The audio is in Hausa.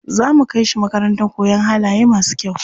Za mu kai shi makarantar koyan halaye masu kyau.